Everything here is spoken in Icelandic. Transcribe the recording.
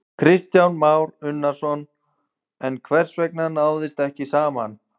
Kristján Már Unnarsson: En hvers vegna náðist ekki saman?